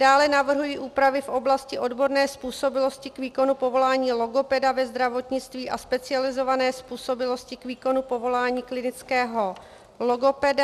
Dále navrhuji úpravy v oblasti odborné způsobilosti k výkonu povolání logopeda ve zdravotnictví a specializované způsobilosti k výkonu povolání klinického logopeda.